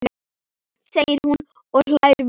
segir hún og hlær við.